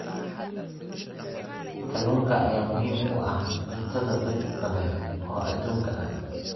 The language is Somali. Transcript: Kalluunka ayaa muhiim u ah cuntada dad badan oo adduunka ah.